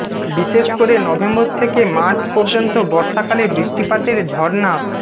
বিশেষ করে নভেম্বর থেকে মার্চ পর্যন্ত বর্ষাকালে বৃষ্টিপাতের ঝরনা